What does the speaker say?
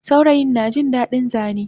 Saurayin najin dadin Zane